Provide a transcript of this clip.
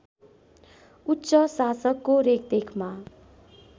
उच्च शासकको रेखदेखमा